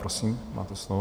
Prosím, máte slovo.